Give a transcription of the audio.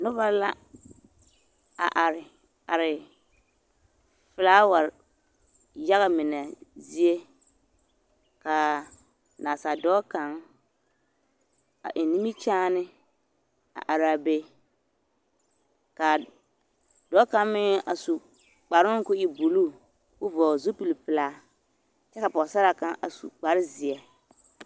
Noba la a are are filaaware yaga mine zie ka nasa dɔɔ kaŋ a eŋ nimikyaane a araa be k'a dɔɔ kaŋ meŋ a su kparoŋ k'o e buluu k'o vɔgele zupili pelaa kyɛ ka pɔgesaraa kaŋ a su kpare zeɛ.